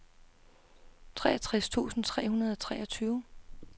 treogtres tusind tre hundrede og treogtyve